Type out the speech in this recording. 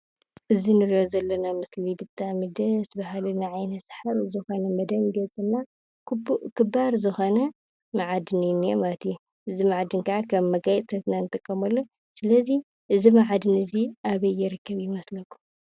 እዚ እንሪኦ ዘለና ምስሊ ብጣዕሚ ደስ በሃሊ ን ዓይኒ ሰሓቢ ዝኾነ ክባር ዝኾነ መዓድን እዩ ዝንሄ ማለት እዩ። እዚ መዓድን ከዓ ከም መጋየፅታት ኢና ንጥቀመሉ ።ስለዚ እዚ መኣድን እዚ ኣበይ ይርከብ ይመስለኩም?